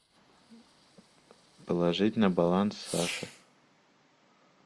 положить на баланс саши